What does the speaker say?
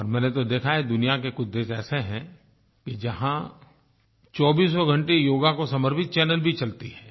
और मैंने तो देखा है दुनिया के कुछ देश ऐसे हैं कि जहाँ चौबीसों घंटे योग को समर्पित चैनल भी चलती हैं